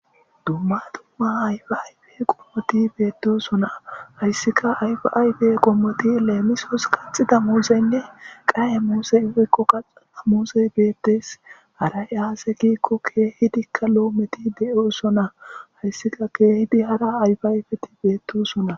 dumma dumma ayfi ayfe qommoti beettusona hayssika ayfaybe qommoti leemisos qaxida muuseynne qaye muusey fekqo qaxaa muusey beettes aray aase giikko keehidikka loometi de7u sona hayssika keehidi hara ayfi ayfeti beettusona